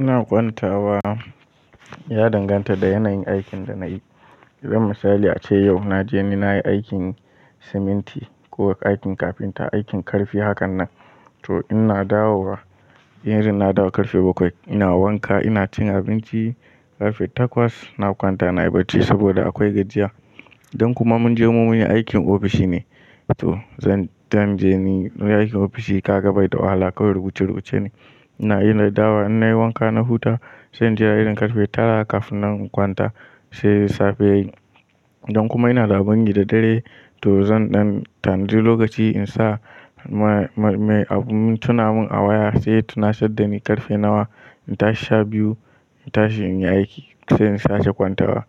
Ina kwantawa ya danganta da yanayin aikin da na yi. Idan misali ace yau na je ni na yi aikin siminti ko aikin kafinta, aikin ƙarfi hakan nan to ina dawowa. In irin na dawo ƙarfe bakwai ina wanka, ina cin abinci ƙarfe takwas. Na kwanta na yi bacci saboda akwai gajiya. Don kuma mun je mun yi aikin ofishi ne, to zan zanje ni in aikin ofishi kaga bai da wahala kawai rubuce-rubuce ne. Ina iya na dawo in na yi wanka na huta sai in je a irin ƙarfe tara kafin na kwanta sai safe ya yi. Don kuma ina da abun yi da dare to zan ɗan tanadi lokaci in sa me abun tuna mun a waya sai ya tunasar da ni ƙarfe nawa in tashi sha biyu, in tashi in yi aiki sai in sake kwantawa.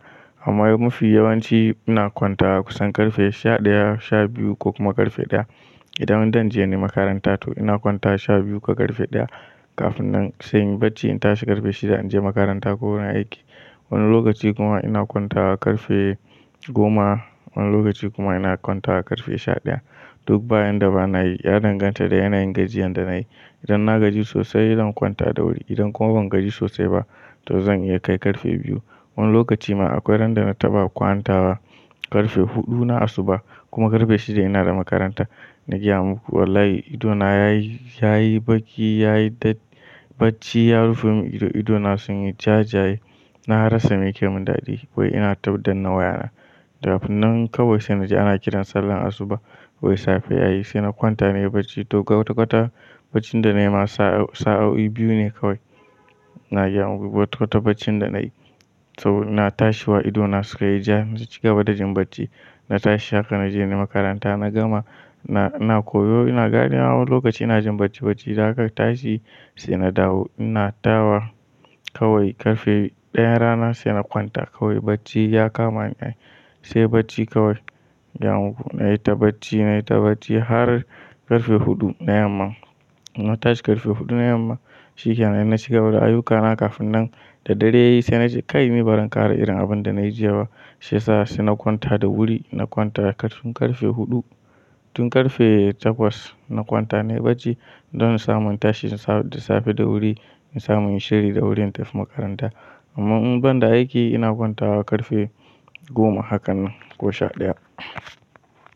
Amma mu fi yawanci ina kwanta kusan ƙarfe sha ɗaya, sha biyu ko kuma ƙarfe ɗaya. Idan zan canje ni makaranta to ina kwantawa sha biyu ko ƙarfe ɗaya kafin nan sai in yi bacci in tashi ƙarfe shida in je makaranta ko wurin aiki. Wani lokaci kuma ina kwanta ƙarfe goma, wani lokaci kuma ina kwanta ƙarfe sha ɗaya. Duk bayan da ba na yi, ya danganta da yanayin gajiyan da na yi. Idan na gaji sosai zan kwanta da wuri. Idan kuma ban gaji sosai ba to zan iya kai ƙarfe biyu. Wani lokaci ma akwai ran da na taɓa kwantawa ƙarfe huɗu na asuba kuma ƙarfe shida ina da makaranta. Na gaya muku wallahi ido na ya yi baƙi, ya yi bacci, ya rufe mun ido. Ido na sun yi jajaye. Na rasa me ke mun daɗi wai ina ta daddanna wayana. Kafin nan kawai sai na ji ana kiran sallar asuba wai safe ya yi sai na kwanta na yi bacci. To kwata-kwata bacin da na yi ma sa'o'i biyu ne kawai. Na gaya muku kwata-kwata bacin da na yi saboda ina tashi wa ido na suka yi ja na cigaba da jin bacci. Na tashi haka na je ni makaranta na gama. Ina koyo ina ganewa wani lokaci ina jin bacci-bacci. Da aka tashi sai na dawo ina dawowa kawai ƙarfe ɗayan rana sai na kwanta kawai bacci ya kama ni ai. Sai bacci kawai. Na gaya muku na yi ta bacci, na yi ta bacci har ƙarfe huɗu na yamma. Na tashi ƙarfe huɗu na yamma shikenan. Na shiga bada ayyukana kafin nan da dare ya yi sai na ji kai ni bazan ƙara irin abun da na yi jiya ba. Shiyasa sai na kwanta da wuri. Na kwanta tun ƙarfe huɗu tun ƙarfe takwas na kwanta na yi bacci don in samu in tashi da safe da wuri, in samu inyi shiri da wuri in tafi makaranta. Amma in ban da aiki ina kwantawa ƙarfe goma hakan nan ko sha ɗaya.